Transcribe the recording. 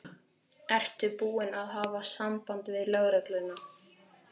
Ertu búin að hafa samband við lögregluna?